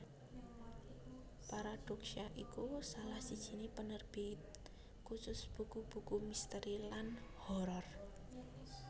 Paradoksya iku salah sijiné penerbit khusus buku buku misteri lan horor